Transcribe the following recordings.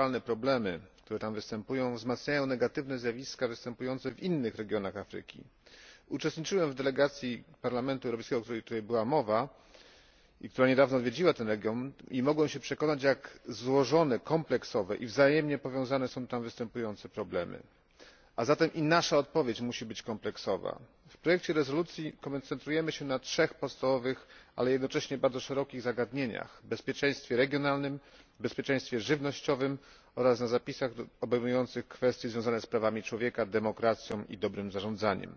Panie przewodniczący! Pani komisarz! Panie premierze! Serdecznie dziękuję za oświadczenie Rady i Komisji w sprawie Rogu Afryki. Znaczenie tego regionu przekracza jego granice czysto geograficzne. Konflikty i strukturalne problemy, które tam występują, wzmacniają negatywne zjawiska występujące w innych regionach Afryki. Uczestniczyłem w delegacji Parlamentu Europejskiego, o której tutaj była mowa i która niedawno odwiedziła ten region, i mogłem się przekonać jak złożone, kompleksowe i wzajemnie powiązane są występujące tam problemy, a zatem i nasza odpowiedź musi być kompleksowa. W projekcie rezolucji koncentrujemy się na trzech podstawowych, ale jednocześnie bardzo szerokich zagadnieniach bezpieczeństwie regionalnym, bezpieczeństwie żywnościowym oraz na zapisach obejmujących kwestie związane z prawami człowieka, demokracją i dobrym zarządzaniem.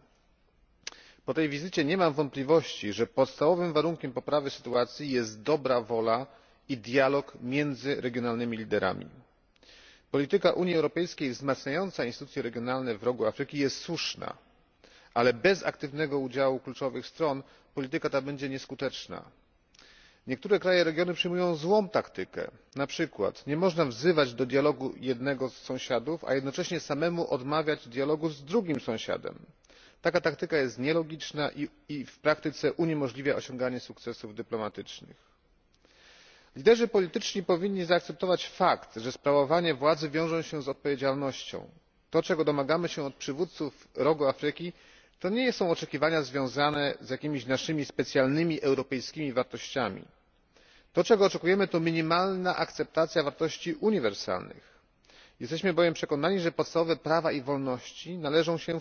Po tej wizycie nie mam wątpliwości, że podstawowym warunkiem poprawy sytuacji jest dobra wola i dialog między regionalnymi liderami. Polityka Unii Europejskiej wzmacniająca instytucje regionalne w Rogu Afryki jest słuszna, ale bez aktywnego udziału kluczowych stron polityka ta będzie nieskuteczna. Niektóre kraje regionu przyjmują złą taktykę, np. nie można wzywać do dialogu jednego z sąsiadów, a jednocześnie samemu odmawiać dialogu z drugim sąsiadem taka taktyka jest nielogiczna i w praktyce uniemożliwia osiąganie sukcesów dyplomatycznych. Liderzy polityczni powinni zaakceptować fakt, że sprawowanie władzy wiąże się z odpowiedzialnością. To, czego domagamy się od przywódców Rogu Afryki, to nie są oczekiwania związane z jakimiś naszymi specjalnym, europejskimi wartościami. To, czego oczekujemy, to minimalna akceptacja wartości uniwersalnych. Jesteśmy bowiem przekonani, że podstawowe prawa i wolności należą się